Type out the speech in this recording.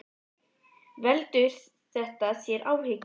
Karen Kjartansdóttir: Veldur þetta þér áhyggjum?